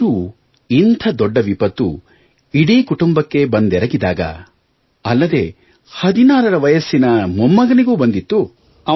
ಆದರೂ ಇಂಥ ದೊಡ್ಡ ವಿಪತ್ತು ಇಡೀ ಕುಟುಂಬಕ್ಕೆ ಬಂದೆರಗಿದಾಗ ಅಲ್ಲದೇ 16 ರ ವಯಸ್ಸಿನ ಮೊಮ್ಮಗನಿಗೂ ಬಂದಿತ್ತು